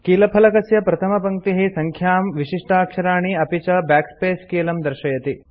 कीलफलकस्य प्रथमपङ्क्तिः सङ्ख्यां विशिष्टाक्षराणि अपि च बैकस्पेस कीलं दर्शयति